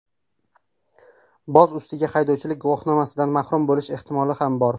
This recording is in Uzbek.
Boz ustiga, haydovchilik guvohnomasidan mahrum bo‘lish ehtimoli ham bor.